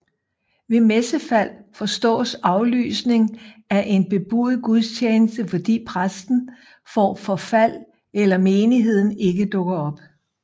Ved messefald forstås aflysning af en bebudet gudstjeneste fordi præsten får forfald eller menigheden ikke dukker op